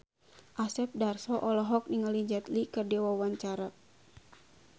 Asep Darso olohok ningali Jet Li keur diwawancara